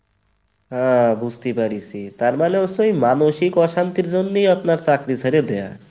ওহ বুজতে পারিছি, তার মানে হচ্ছে মানসিক অশান্তির জন্যই আপনার চাকরী ছেড়ে দেওয়া।